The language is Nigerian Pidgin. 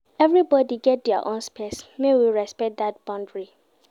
Everybodi get their own space, make we respect dat boundary.